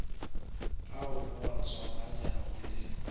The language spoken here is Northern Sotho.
ao o a tswalanyago le